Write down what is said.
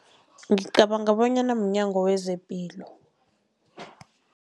Ngicabanga bonyana mNyango wezePilo.